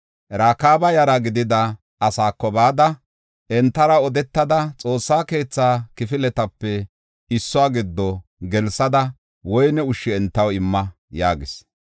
“Rakaaba yara gidida asaako bada, entara odetada, Xoossa keetha kifiletape issuwa giddo gelsada woyne ushsha entaw imma” yaagis.